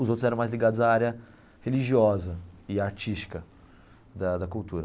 Os outros eram mais ligados à área religiosa e artística da da cultura.